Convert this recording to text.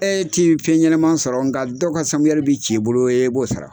E'ti fɛn ɲɛnama sɔrɔ nka dɔw ka sanburuyɛri bɛ ci i bolo i b'o sara.